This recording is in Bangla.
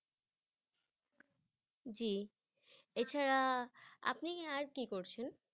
জি এছাড়া আপনি আর কি করছেন?